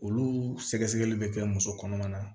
Olu sɛgɛsɛgɛli bɛ kɛ muso kɔnɔma na